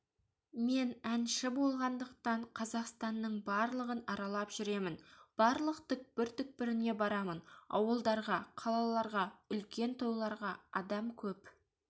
мен әнші болғандықтан қазақстаның барлығын аралап жүремін барлық түкпір-түкпіріне барамын ауылдарға қалаларға үлкен тойларға адам көп